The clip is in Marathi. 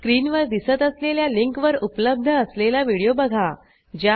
स्क्रीनवर दिसत असलेल्या लिंकवर उपलब्ध असलेला व्हिडिओ बघा